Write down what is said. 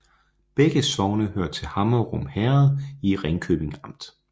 Begge sogne hørte til Hammerum Herred i Ringkøbing Amt